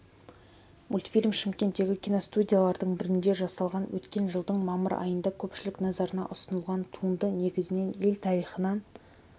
мультфильм шымкенттегі киностудиялардың бірінде жасалған өткен жылдың мамыр айында көпшілік назарына ұсынылған туынды негізінен ел тарихынан